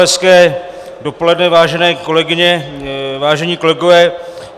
Hezké dopoledne, vážené kolegyně, vážení kolegové.